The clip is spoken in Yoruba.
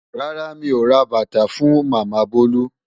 Rárá mi ò ra bàtà fún Màmá Bolu.